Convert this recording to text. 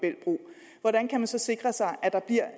når der en kan sikre sig at der bliver